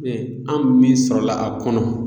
an min sɔrɔ la a kɔnɔ